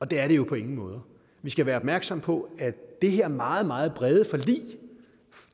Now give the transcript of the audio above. det er det jo på ingen måde vi skal være opmærksomme på at det her meget meget brede forlig